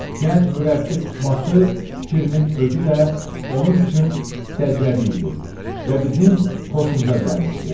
Gənc mürəbbi tutması fikrinin özü də onun üçün səciyyəvi idi və bizim xoşumuza gəlmişdi.